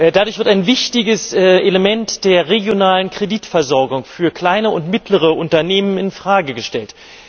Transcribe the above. Dadurch wird ein wichtiges Element der regionalen Kreditversorgung für kleine und mittlere Unternehmen in Frage gestellt.